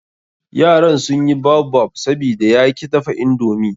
Yaran sun yi baobab, sabida ya ki dafa indomi.